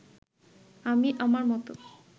আমি আমার মতো